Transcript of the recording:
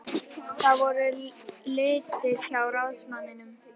Það voru til litir hjá ráðsmanninum.